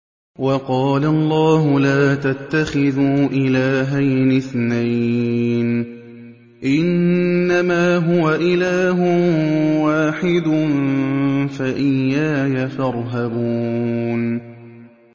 ۞ وَقَالَ اللَّهُ لَا تَتَّخِذُوا إِلَٰهَيْنِ اثْنَيْنِ ۖ إِنَّمَا هُوَ إِلَٰهٌ وَاحِدٌ ۖ فَإِيَّايَ فَارْهَبُونِ